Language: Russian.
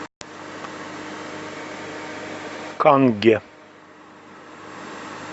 канге